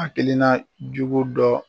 A kelenna jugu dɔ